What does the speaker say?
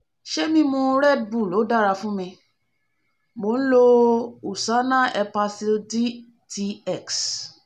se mimu redbull o da fun mi? mo n lo usana hepasil dtx